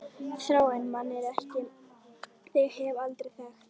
Þrárri mann en þig hef ég aldrei þekkt!